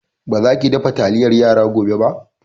Ba za ki dafa taliyar yara gobe ba!